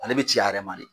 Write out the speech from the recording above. Ale bɛ ci a yɛrɛ ma de